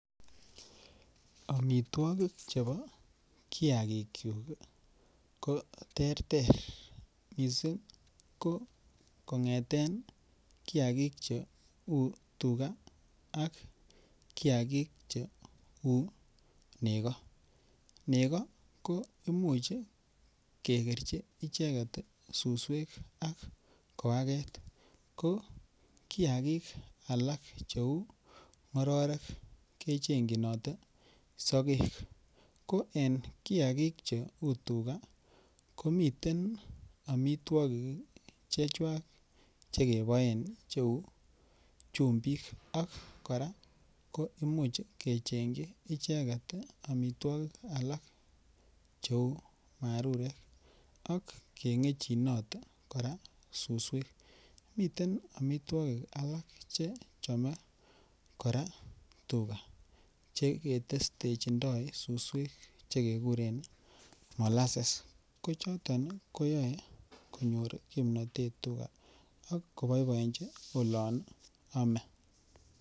Omitwokik chebo kiagikyuk ii ko terter missing ko kongeten kiagik che uu tuga ak kiagik che uu nego, nego ko imuch kegerchi icheget suswek ak koaget ko kiagik alak che uu ngororek kechenyinote sogek. Ko en kiagik che uu tuga ko miten omitwokik ii chechwak che keboen che uu chumbik ak koraa kimuch kechengyi icheget omitwokik alak che uu marurek ak kengechinot ak kengechinot koraa suswek. Miten omitwokik alak che chome koraa tuga che ketestechindo suswek che keguren mollases ko choton ii ko yoe konyor kimnotet tuga ak ko boiboenji olon ome